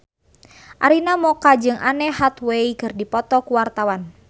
Arina Mocca jeung Anne Hathaway keur dipoto ku wartawan